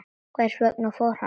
Hvers vegna fór hann?